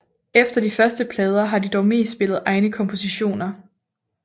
Efter de første plader har de dog mest spillet egne kompositioner